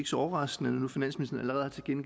så overraskende når